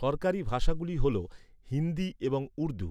সরকারী ভাষা গুলি হল হিন্দি এবং উর্দু,